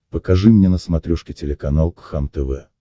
покажи мне на смотрешке телеканал кхлм тв